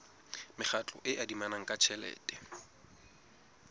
mekgatlo e adimanang ka tjhelete